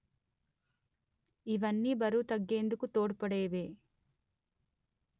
ఇవన్నీ బరువు తగ్గేందుకు తోడ్పడేవే